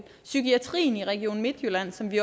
psykiatrien i region midtjylland som vi